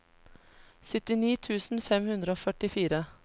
syttini tusen fem hundre og førtifire